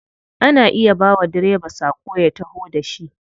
Ana iya bawa direba sako ya taho da shi.